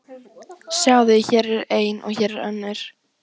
Sjáðu, hér er ein og hér er önnur.